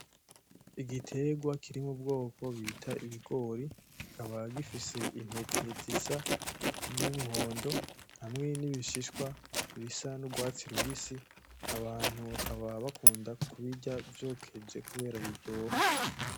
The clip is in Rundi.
Igiterwa kiri mu bwoko bita ibigori kikaba gifise intete zisa n’umuhondo hamwe n’ibishishwa bisa n’urwatsi rubisi. Abantu bakaba bakunda kubirya vyokeje kubera biryoha .